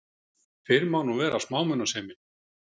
Fyrr mátti nú vera smámunasemin!